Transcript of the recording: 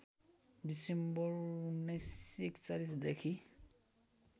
December १९४१ देखि